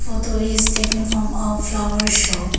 Photo is taken from a flower shop.